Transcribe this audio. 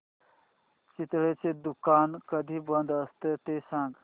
चितळेंचं दुकान कधी बंद असतं ते सांग